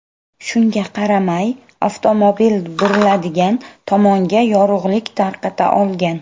Shunga qaramay avtomobil buriladigan tomonga yorug‘lik tarqata olgan.